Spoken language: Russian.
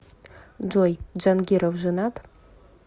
джой джангиров женат